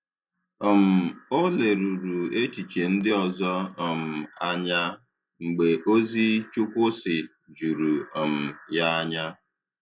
um Ọ lèrùrù echiche ndị ọzọ um anya mgbe ozi “Chukwu sị” jùrù um ya anya.